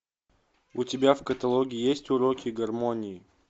у тебя в каталоге есть уроки гармонии